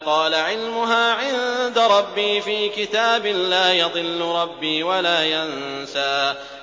قَالَ عِلْمُهَا عِندَ رَبِّي فِي كِتَابٍ ۖ لَّا يَضِلُّ رَبِّي وَلَا يَنسَى